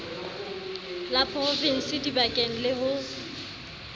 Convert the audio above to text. la provinse dibankeng le ho